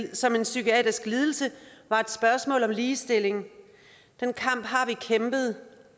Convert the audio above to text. som en psykiatrisk lidelse var et spørgsmål om ligestilling den kamp har vi kæmpet